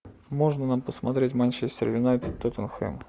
можно нам посмотреть манчестер юнайтед тоттенхэм